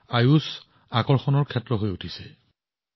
আনকি ষ্টাৰ্টআপৰ পৃথিৱীতো আয়ুষ আকৰ্ষণৰ বিষয় হৈ পৰিছে